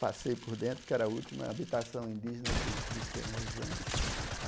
Passei por dentro, que era a última habitação indígena que existia na região.